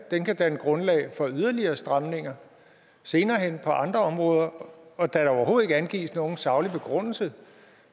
kan danne grundlag for yderligere stramninger senere hen på andre områder og da der overhovedet ikke angives nogen saglig begrundelse